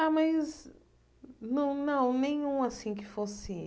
Ah, mas... Não não, nenhum assim que fosse.